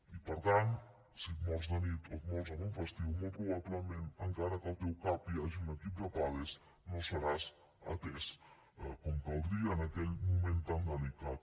i per tant si et mors de nit o et mors en un festiu molt probablement encara que al teu cap hi hagi un equip de pades no seràs atès com caldria en aquell moment tan delicat